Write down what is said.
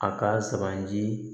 A ka suganti